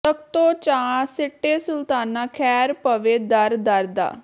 ਤਖ਼ਤੋਂ ਚਾ ਸਿੱਟੇ ਸੁਲਤਾਨਾਂ ਖ਼ੈਰ ਪਵੇ ਦਰ ਦਰ ਦਾ